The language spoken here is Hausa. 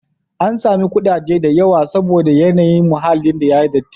An samu ƙudaje da yawa saboda yanayin muhallin ya yi datti.